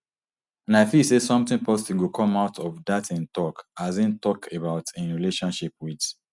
and i feel say somtin positive go come out of dat im tok as im tok about im relationship wit